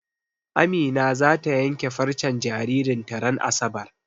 Amina zata yanke farcen jaririn ta ran asabar.